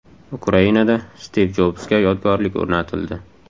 Ukrainada Stiv Jobsga yodgorlik o‘rnatildi.